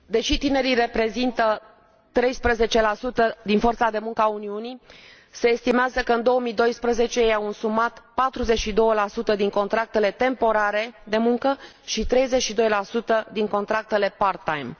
Deși tinerii reprezintă 13 din forța de muncă a Uniunii, se estimează că în 2012 ei au însumat 42 din contractele temporare de muncă și 32 din contractele part time.